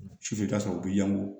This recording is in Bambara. Sufɛ i ka sɔrɔ u bɛ yan ko